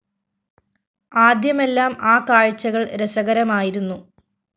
ആദ്യമെല്ലാം ആ കാഴ്ചകള്‍ രസകരമായിരുന്നു